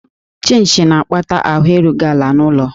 Chịnchị na-akpata ahụ erughị ala n'ụlọ